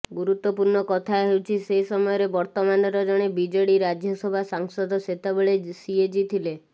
ଗୁରୁତ୍ୱପୂର୍ଣ୍ଣ କଥା ହେଉଛି ସେ ସମୟରେ ବର୍ତ୍ତମାନର ଜଣେ ବିଜେଡି ରାଜ୍ୟସଭା ସାଂସଦ ସେତେବଳେ ସିଏଜି ଥିଲେ